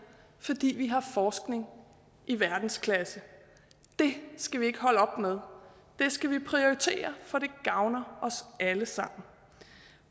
fordi vi har forskning i verdensklasse det skal vi ikke holde op med det skal vi prioritere for det gavner os alle sammen